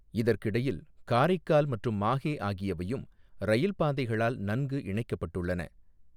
இதற்கிடையில் காரைக்கால் மற்றும் மாஹே ஆகியவையும் இரயில் பாதைகளால் நன்கு இணைக்கப்பட்டுள்ளன.